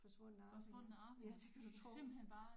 Forsvundne Arvinger ja det kan du tro